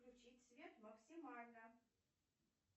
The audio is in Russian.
включить свет максимально